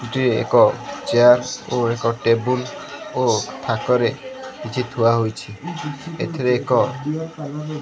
ଗୋଟିଏ ଏକ ଚେୟାର ଓ ଏକ ଟେବୁଲ୍ ଓ ଥାକରେ କିଛି ଥୁଆ ହୋଇଛି ଏଥିରେ ଏକ--